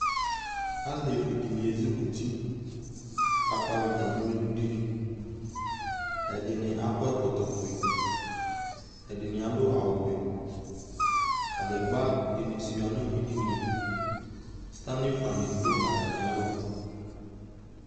Alevidɩnɩ ezikuti k'akpɔ avɩta nʋ eludini : ɛdɩnɩ akɔ ɛkɔtɔfue , ɛdɩnɩ adʋ awʋvɛ Kǝdegbǝdɩnɩ sʋɩa nʋ edinie , sɩtanifanɩ dʋ atamɩalɔ